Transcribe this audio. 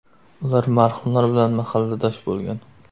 Ular marhumlar bilan mahalladosh bo‘lgan.